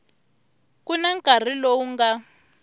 ku na nkarhi lowu nga